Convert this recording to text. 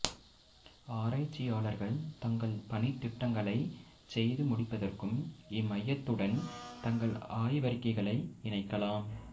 ஆராய்ச்சியாளர்கள் தங்கள் பணித்திட்டங்களைச் செய்துமுடிப்பதற்கும் இம்மையத்துடன் உடன் தங்கள் ஆய்வறிக்கைகளை இணைக்கலாம்